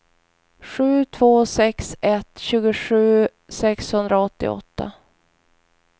sju två sex ett tjugosju sexhundraåttioåtta